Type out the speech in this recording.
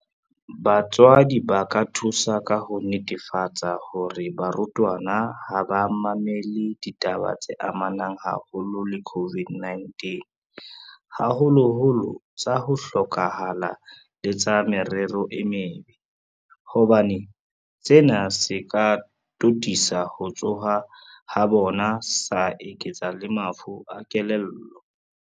Batswadi ba ka thusa ka ho netefatsa hore barutwana ha ba mamele ditaba tse amanang haholo le COVID-19, haholoholo tsa ho hloka hala le tsa merero e mebe, hobane sena se ka totisa ho tshoha ha bona sa eketsa le mafu a kelello.